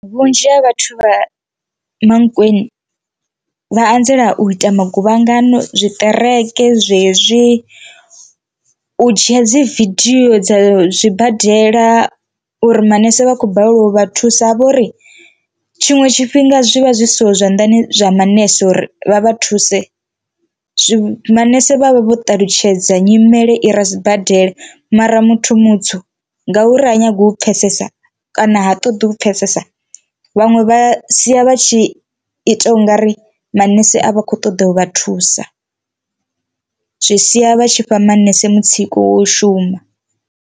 Vhunzhi ha vhathu vha Mankweni vha anzela u ita maguvhangano, zwiṱereke zwezwi u dzhia dzi vidio dza zwibadela uri manese vha khou balelwa u vha thusa havhori tshiṅwe tshifhinga zwi vha zwi siho zwanḓani zwa manese uri vha vha thuse zwi. Manese vha vha ṱalutshedza nyimele i re sibadela mara muthu mutsu ngauri ha nyagi u pfhesesa kana ha ṱoḓi u pfhesesa vhaṅwe vha sia vha tshi ita ungari manese a vha khou ṱoḓa u vha thusa zwi sia vha tshi fha manese mutsiko wo shuma.